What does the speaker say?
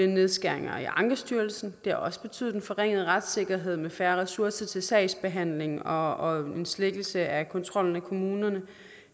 nedskæringer i ankestyrelsen det har også betydet en forringet retssikkerhed med færre ressourcer til sagsbehandlingen og en svækkelse af kontrollen med kommunerne